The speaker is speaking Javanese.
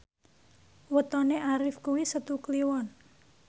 wetone Arif kuwi Setu Kliwon